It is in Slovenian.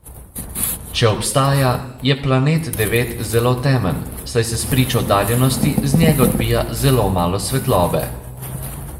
Če obstaja, je Planet devet zelo temen, saj se spričo oddaljenosti z njega odbija zelo malo svetlobe.